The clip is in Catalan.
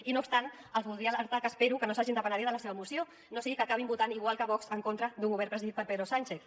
i no obstant els voldria alertar que espero que no s’hagin de penedir de la seva moció no sigui que acabin votant igual que vox en contra d’un govern presidit per pedro sánchez